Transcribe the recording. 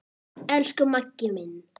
Elsku Maggi minn.